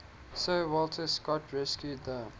sir walter scott rescued the